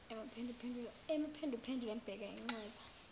emuphenduphendula embheka inxeba